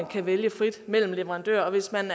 kan vælge frit mellem leverandører og hvis man